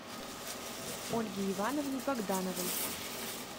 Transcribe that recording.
ольге ивановне богдановой